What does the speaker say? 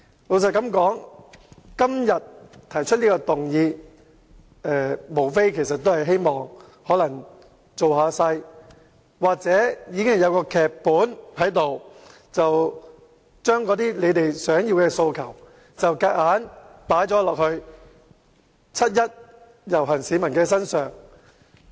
民主黨今天提出這項議案，無非為了造勢，又或是已經編好劇本，把他們的訴求強加於七一遊行的市民身上。